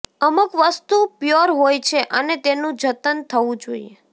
અમુક વસ્તુ પ્યોર હોય છે અને તેનું જતન થવું જોઈએ